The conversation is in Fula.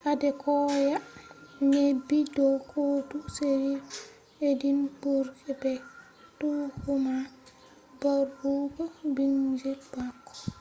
adekoya neebi do kotu sheriff edinburgh be tuhuma barugo bingel maako